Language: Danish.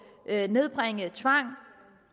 at nedbringe tvang